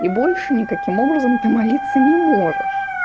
и больше никаким образом ты молиться не можешь